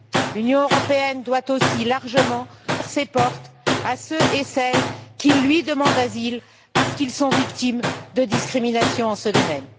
L'Union européenne doit aussi ouvrir largement ses portes à celles et ceux qui lui demandent asile parce qu'ils sont victimes de discriminations en ce domaine.